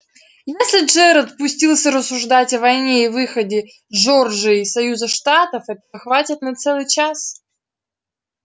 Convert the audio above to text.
если джералд пустится рассуждать о войне и выходе джорджии из союза штатов этого хватит на целый час